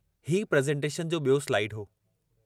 हीउ प्रेज़ेन्टेशन जो ॿियों स्लाइड हो।